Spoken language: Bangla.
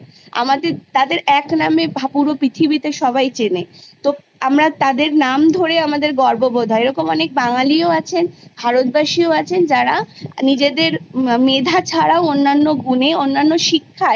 আমাদের তাদের একনামে ভার পুরো পৃথিবীতে সবাই চেনে তো আমরা তাদের নাম ধরে আমাদের গর্ববোধ হয় এরকম অনেক বাঙালিও আছেন ভারতবাসীও আছেন যারা নিজেদের মেধা ছাড়াও অন্যান্য গুনে অন্যান্য শিক্ষায়